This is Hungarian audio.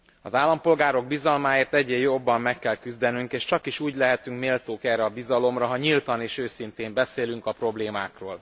Az állampolgárok bizalmáért egyre jobban meg kell küzdenünk, és csakis úgy lehetünk méltók erre a bizalomra, ha nyíltan és őszintén beszélünk a problémákról.